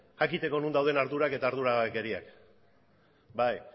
jakiteko non dauden ardurak eta arduragabekeriak